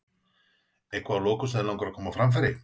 Eitthvað að lokum sem þig langar að koma á framfæri?